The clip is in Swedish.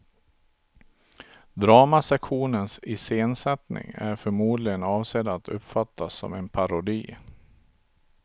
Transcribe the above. Dramasektionens iscensättning är förmodligen avsedd att uppfattas som en parodi.